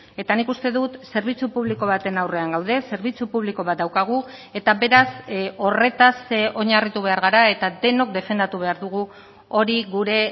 eta nik uste dut zerbitzu publiko baten aurrean gaude zerbitzu publiko bat daukagu eta beraz horretaz oinarritu behar gara eta denok defendatu behar dugu hori gure